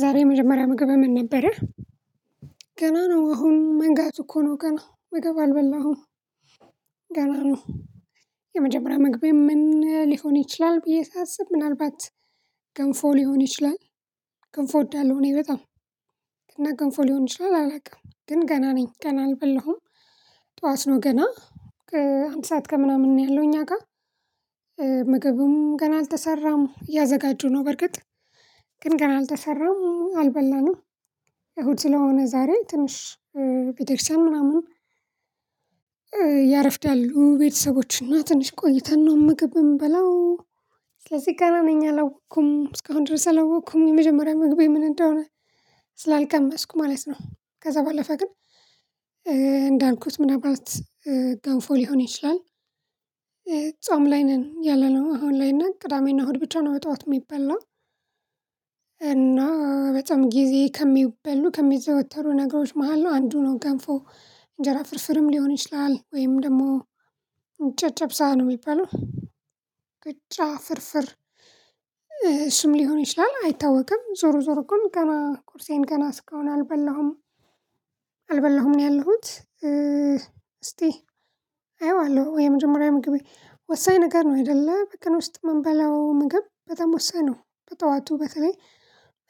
ዛሬ የመጀመሪያ ምግብህ ምን ነበረህ? ገና ነው አሁን መንጋቱ እኮ ነው ገና ምግብ አልበላሁም። ገና ነው። የመጀመሪያ መግቢያየ ምን ሊሆን ይችላል ብዬ ሳስብ ምናልባት ገንፎ ሊሆን ይችላል ገንፎ እወዳለሁ። እኔ በጣም እና ገንፎ ሊሆን ይችላል አላውቅም ግን ገና ነኝ ገና አልበላሁም። ጠዋት ነው ገና ከአንድ ሰዓት ከምናምን ነው ያለው እኛ ጋር። ምግቡም ገና አልተሰራም እያዘጋጁ ነው በርግጥ ግን ገና አልተሰራም አልበላንም። እሁድ ስለሆነ ዛሬ ትንሽ ቤተ ክርስቲያን ምናምን ያረፍዳሉ ቤተሰቦች እና ትንሽ ቆይተን ነው ምግብ የምበላው። ስለዚህ ገና ነኝ አላወቅኩም እስካሁን ድረስ አላወቅኩም የመጀመሪያ ምግቤ ምን እንደሆነ ስላልቀመስኩ ማለት ነው። ከዛ ባለፈ ግን እንዳልኩት ምናልባት ገንፎ ሊሆን ይችላል። ጾም ላይ ነን ያለነው አሁን ላይ እና ቅዳሜና እሁድ ብቻ ነው በጠዋት የሚበላ። እና በጣም ጊዜ ከሚበሉ ከሚዘወተሩ ነገሮች መሃል ነው አንዱ ነው ገንፎ። እንጀራ ፍርፍርም ሊሆን ይችላል ወይም ደግሞ ጨጨብሳ ነው የሚባለው። ቂጣ ፍርፍር እሱም ሊሆን ይችላል አይታወቅም ዞሮ ዞሮ ግን ገና ቁርሴን ገና እስካሁን አልበላሁም። አልበላሁም ነው ያለሁት። እስቲ አየዋለሁ የመጀመሪያ ምግቤ ወሳኝ ነገር ነው አይደለ በቀን ውስጥ የምንበላው ምግብ በጣም ወሳኝ ነው። በጠዋቱ በተለይ